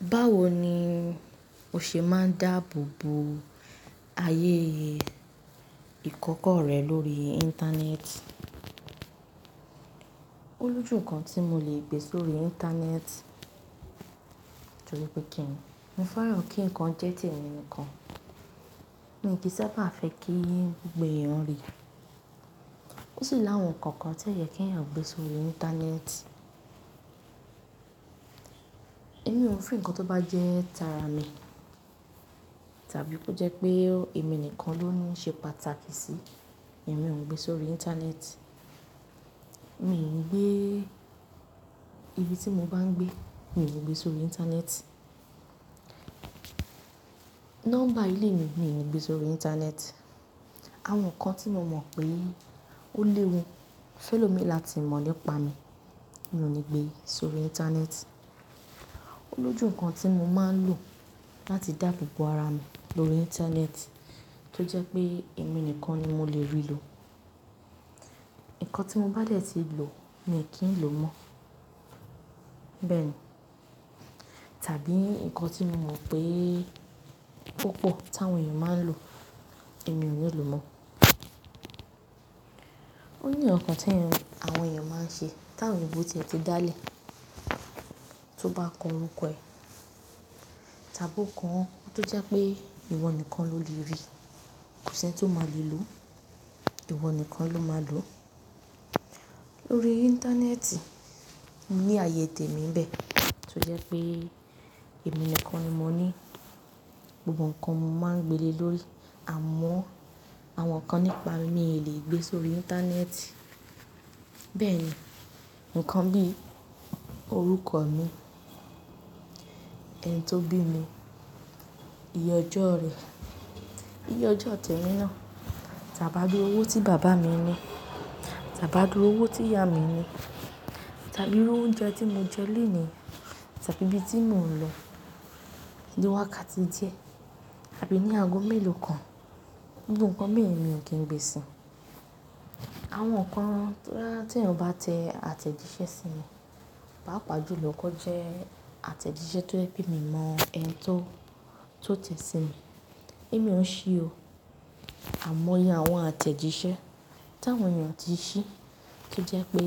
Báwo ni o ṣe máa ń dáàbò bo ayé ìkọ́kọ́ rẹ lórí Íńtánẹ́ẹ̀tì? Ó lójú nǹkan tí mo lè gbé sórí Íńtánẹ́ẹ̀tì torí pé kí n feran kí nǹkan jẹ́ tẹ̀mi nìkan, mi ò kí ń sábà fẹ́ kí gbogbo èèyàn rí i. Ó sì làwọn ǹkan kan tó yẹ kí eẹ̀yàn gbé sórí Íńtánẹ́ẹ̀tì. Èmi ò ń fi ǹkan tó bá jẹ́ tara mi, tàbí kí ó jẹ́ pé èmi nìkan ló ní ṣe pàtàkì sí, èmi ò ń gbé sórí Íńtánẹ́ẹ̀tì. Mi ò ń gbé ibi tí mo bá ń gbé, mi ò ń gbé sórí Íńtánẹ́ẹ̀tì. Nọ́mbà ìlé mi, mi ò ń gbé sórí Íńtánẹ́ẹ̀tì. Àwọn ǹkan tí mo mọ̀ pé ó léwu, fẹ́lọ́ mi láti mọ̀ ni ipa mi, mi ò ní gbé sórí Íńtánẹ́ẹ̀tì. Ó lójú nǹkan tí mo máa ń lò láti dáàbò bo ara mi lórí Íńtánẹ́ẹ̀tì tó jẹ́ pé èmi nìkan ni mo lè rí i lò. Ǹnkan tí mo bá dè tí ì lò mí kí ń lò mọ́. Bẹ́ẹ̀ ni, tàbí ǹnkan tí mo mọ̀ pé púpọ̀ tí àwọn èèyàn máa ń lò, èmi ò ní lò mọ́. Ó ní àwọn ǹkan tí àwọn èèyàn máa ń ṣe táwọn oyinbó tiè ti dá lé, tó bá kor orúnkọ ẹ̀, tàbí ọ̀kan tó jẹ́ pé ìwọ nìkan ló lè rí i, kò sí ẹni tí ó máa lè lò ó, ìwọ nìkan ló máa lò ó lórí Íńtánẹ́ẹ̀tì. Mo ní ààyè tẹ̀mi ń bẹ tó jẹ́ pé èmi nìkan ni mo ní gbogbo ǹkan mo máa ń gbele lórí, àmọ́ àwọn kan nípa mi mi ò lè gbé sórí Íńtánẹ́ẹ̀tì. Bẹ́ẹ̀ ni, ǹkan bí i orúkọ mi, ẹni tó bí mi, iye ọjọ́ rẹ̀, iye ọjọ́ tẹ̀mi náà tàbí àduru owó tí bàbá mi ní tàbí àduru owó tí ìyá mi ní tàbí irú oúnjẹ tí mo jẹ lenìí tàbí ibi tí mò ń lọ ní wákàtí díẹ̀ tàbí ní ago mélòó kan, gbogbo ǹkan mi yi ni miò kí ń gbe sìn. Àwọn ǹkan tí èèyàn bá tẹ àtẹ̀jíṣẹ́ sími, pàápàá jùlọ kó jẹ́ àtẹ̀jíṣẹ́ tó jẹ́ wipè mí mọ ẹni tó tẹ sí mi, èmi ò ń ṣí i o. Ai moye àwọn àtẹ̀jíṣẹ́ tí àwọn èèyàn ti ṣí tó jẹ́ pé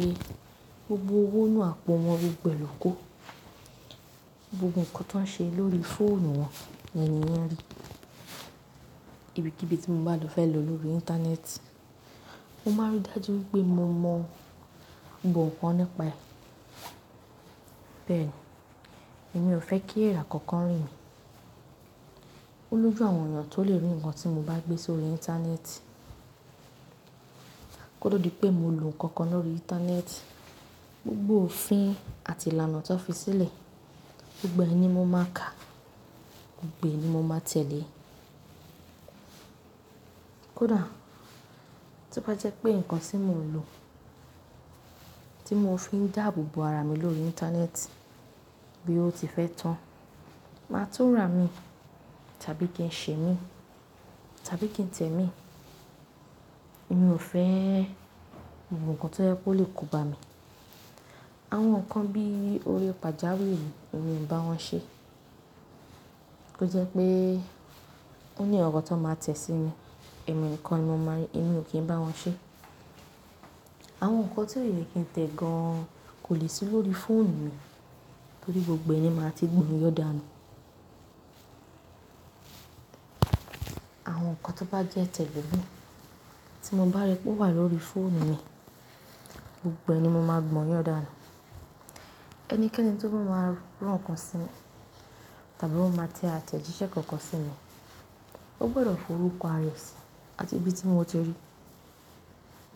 gbogbo owó nínú àpò wọn gbogbo èlò kó, gbogbo ǹkan tó ń ṣe lórí fóònù wọn ni eńi yen ri. Ibi kí ibi tí mo bá ti fẹ́ lò lórí Íńtánẹ́ẹ̀tì, mo máa rí dájú pé mo mọ gbogbo ǹkan nípa rẹ̀. Bẹ́ẹ̀ ni, èmi ò fẹ́ kí èèrà kankan rí mi. Ó lójú àwọn èèyàn tó lè rí ǹkan tí mo bá gbé sórí Íńtánẹ́ẹ̀tì. Kóto di pé mo lò ǹkan kan lórí Íńtánẹ́ẹ̀tì, gbogbo òfin àti ìlànà tó fi sílẹ̀ gbogbo ẹni mo máa kà, gbogbo ẹni mo máa tẹ̀lé. Kódà tí ó bá jẹ́ pé ǹkan tí mò ń lò tí mo fi ń dáàbò bo ara mi lórí Íńtánẹ́ẹ̀tì boya ó ti fẹ́ tán máa tún rà mí tàbí kí ń ṣe mí tàbí kí ń tẹ́ mí, èmi ò fẹ́ gbogbo ǹkan tió jẹ pe ó lè kóbá mi. Àwọn ǹkan bí i orí pàjáwìrì mi, èmi ò ń bá wọn ṣe kó jẹ́ pé ó ní ọ̀rọ̀ tó máa tẹ̀ sí mi, èmi nìkan ni mo mọ̀, èmi ò kí ń bá wọn ṣe. Àwọn ǹkan tí oye kí ń tẹ̀ gan kò lè sí lórí fóònù mi torí gbogbo ẹni máa ti gbọ́n yọ dánù. Àwọn ǹkan tó bá jẹ́ tẹ̀lo mi tí mo bá rí pé owà lórí fóònù mi, gbogbo ẹni mo máa gbọ́n yọ dánù. Ẹnikẹ́ni tí ó bá máa rán ǹkan sí mi tàbí ó máa tẹ àtẹ̀jíṣẹ́ kankan sí mi, ó gbọ́dọ̀ fi orúkọ ara ẹ̀ sí àti ibi tí mọn ti rí i.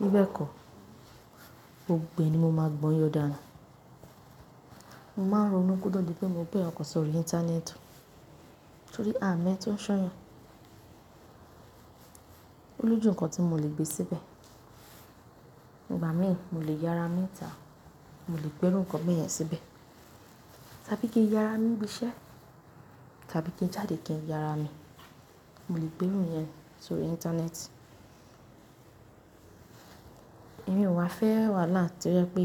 Bíbẹ̀ kọ́ gbogbo ẹni mo máa gbọ́n yọ dánù. Mo máa ń ronú kóto di pé mo gbẹ̀ ǹkankan sórí Íńtánẹ́ẹ̀tì torí àmo eni tó ń ṣọ́yàn. Ó lójú ǹkan tí mo lè gbé síbẹ̀. Ìgbà mí mo lè yára mi ntá, mo lè gbé irú ǹkan bẹ́ẹ̀ yẹn síbẹ̀. Tàbí kí yára mi nibi iṣẹ́ tàbí kí ń jáde kí ń yára mi, mo lè gbé irú iyẹn sórí Íńtánẹ́ẹ̀tì. Èmi ò wá fẹ́ wàhala ti oje pé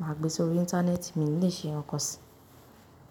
máa gbé sórí Íńtánẹ́ẹ̀tì mi ni lè ṣe ǹkan si.